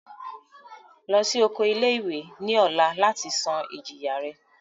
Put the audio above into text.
Lọ si oko ile-iwe ni ọla lati san ijiya rẹ!